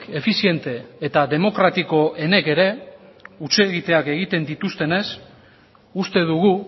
efiziente eta demokratikoenek ere hutsegiteak egiten dituztenez uste dugu